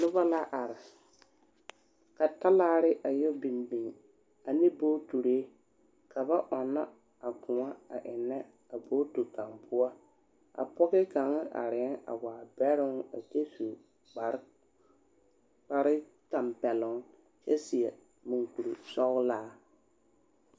Noba la are ka talaare a yԑ biŋ biŋ ane bogitiri ka ba ͻnnͻ a kõͻ a ennԑ a bogiti kaŋa poͻ. A pͻge kaŋa arԑԑ a waa bԑroŋ a kyԑ su kpare kpare tampԑloŋ kyԑ seԑ mͻŋkurisͻgelaa.